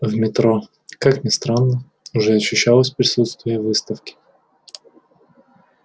в метро как ни странно уже ощущалось присутствие выставки